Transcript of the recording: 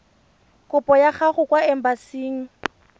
kopo ya gago kwa embasing